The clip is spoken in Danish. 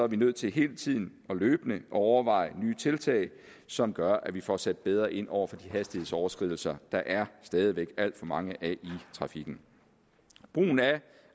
vi nødt til hele tiden og løbende at overveje nye tiltag som gør at vi får sat bedre ind over for de hastighedsoverskridelser der stadig væk er alt for mange af i trafikken brugen af